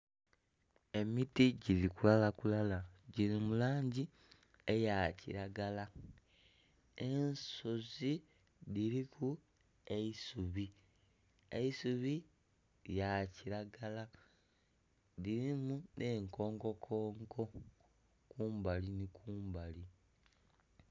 Emiti giri kulala kulala giri mu langi eya kiragala ensozi dhiriku eisubi, eisubi lya kiragala dhirimu n'enkonko konko kumbali ni kumbali.